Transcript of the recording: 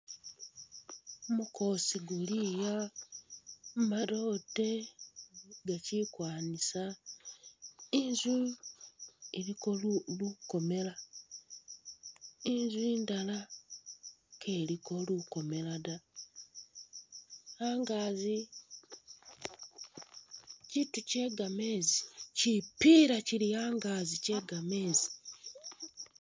Gumukoosi guli ah madote gakyili kwanisa, Inzu iliko lukomela, Inzu indala keliko lukomela da, angazi kyitu kye gamezi kyipiila kyili angazi kye gamezi.